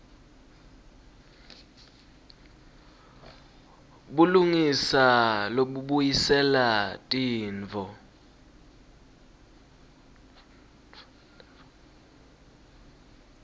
bulungisa lobubuyisela tintfo